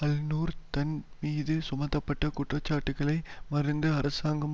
அல் நூர் தன் மீது சுமத்தப்பட்ட குற்றச்சாட்டுக்களை மறுத்து அரசாங்கம்